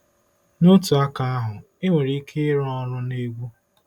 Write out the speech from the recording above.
N'otu aka ahụ, enwere ike ịrụ ọrụ na egwu.